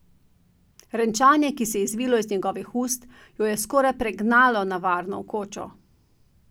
Renčanje, ki se je izvilo iz njegovih ust, jo je skoraj pregnalo na varno v kočo.